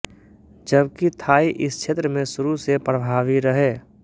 जबकि थाई इस क्षेत्र में शुरू से प्रभावी रहे